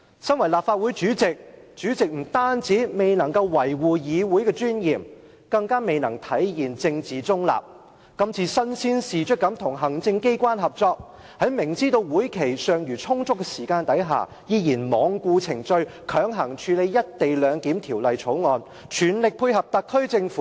身為立法會主席，不單未能維護議會的尊嚴，更未能體現政治中立，身先士卒與行政機關合作，明知道會期尚餘充足時間，依然罔顧程序，強行處理《條例草案》，全力配合特區政府。